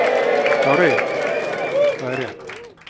Kári: Það er rétt.